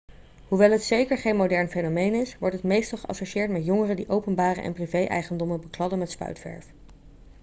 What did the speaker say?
hoewel het zeker geen modern fenomeen is wordt het meestal geassocieerd met jongeren die openbare en privé-eigendommen bekladden met spuitverf